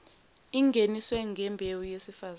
ingeniswe ngembewu yesifazane